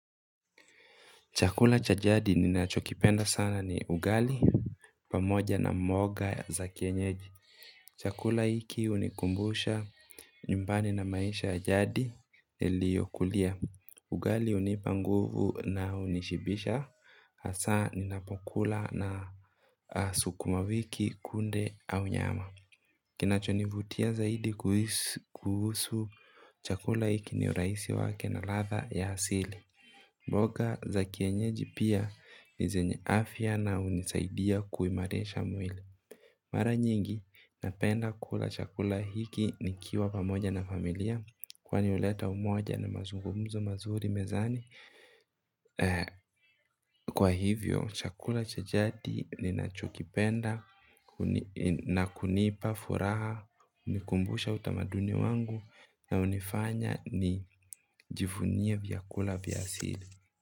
Chakula cha jadi ninachokipenda sana ni ugali pamoja na mboga za kienyeji. Chakula hiki hunikumbusha nyumbani na maisha ya jadi liyokulia. Ugali hunipa nguvu na hunishibisha hasa ninapokula na sukumawiki, kunde au nyama. Kinachonivutia zaidi kuhusu chakula hiki ni urahisi wake na latha ya hasili. Mboga za kienyeji pia ni zenye afya na hunisaidia kuimarisha mwili. Mara nyingi napenda kula chakula hiki nikiwa pamoja na familia. Kwani huleta umoja na mazungumzo mazuri mezani. Kwa hivyo chakula cha jadi ni nachokipenda na kunipa furaha hunikumbusha utamaduni wangu na hunifanya ni jivunie viakula vya asili.